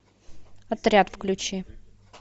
отряд включи